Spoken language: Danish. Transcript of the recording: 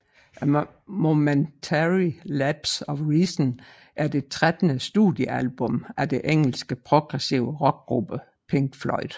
A Momentary Lapse of Reason er det trettende studiealbum af det engelske progressive rockgruppe Pink Floyd